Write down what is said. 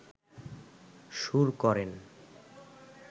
সুর করেন